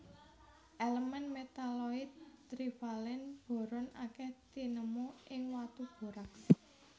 Elemen metaloid trivalen boron akèh tinemu ing watu borax